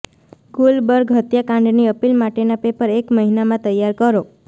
ગુલબર્ગ હત્યાકાંડની અપીલ માટેના પેપર એક મહિનામાં તૈયાર કરો